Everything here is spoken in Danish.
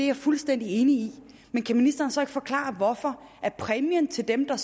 jeg fuldstændig enig i men kan ministeren så ikke forklare hvorfor præmien til dem der